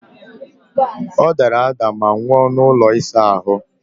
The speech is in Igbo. Ọdara ada ma nwụọ n'ụlọ ịsa ahụ!